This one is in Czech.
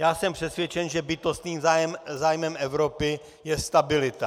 Já jsem přesvědčen, že bytostným zájmem Evropy je stabilita.